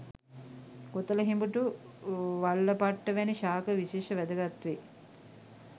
කොතලහිඹුටු වල්ලපට්ට වැනි ශාක විශේෂ වැදගත් වේ